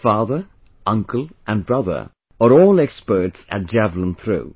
His father, uncle and brother are all experts at javelin throw